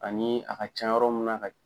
Ani a ka ca yɔrɔ min na ka